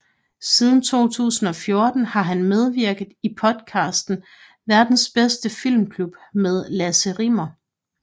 Siden 2014 har han medvirket i podcasten Verdens Bedste Filmklub med Lasse Rimmer